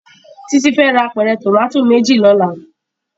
Titi fè rá ápèrè tómàtó méjí lòlá